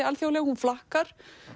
alþjóðleg hún flakkar